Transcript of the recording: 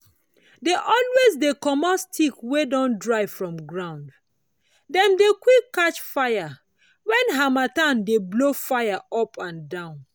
dey always dey commot stick wey don dry from ground —dem dey quick catch fire when harmattan dey blow fire upandan.